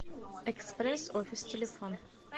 экспресс офис телефон